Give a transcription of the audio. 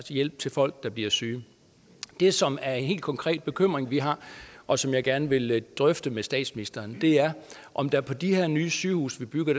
hjælp til folk der bliver syge det som er en helt konkret bekymring vi har og som jeg gerne vil drøfte med statsministeren er om der på de her nye sygehuse man bygger